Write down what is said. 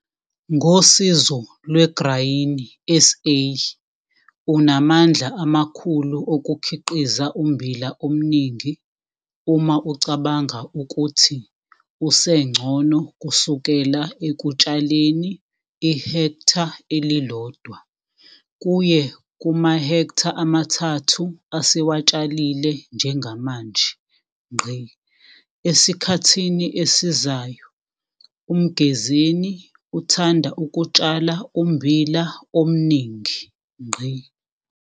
Ngosizo lweGraini SA, unamandla amakhulu okukhiqiza ummbila omningi uma ucabanga ukuthi usencono kusukela ekutshaleni i-hektha eli-1 kuye kumahektha amathathu asewatshalile njengamanje. Esikhathini esizayo UMgezeni uthanda ukutshala ummbila omningi.